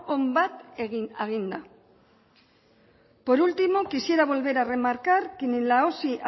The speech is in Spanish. on bat eginda por último quisiera volver a remarcar que ni en la osi